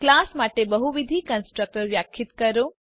class માટે બહુવિધ constructors વ્યાખ્યાયિત કરો